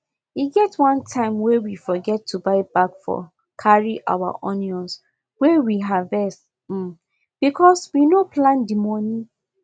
e get one time wey we forget to buy bag for carry our onions wey we harvest um bcos we no plan the moni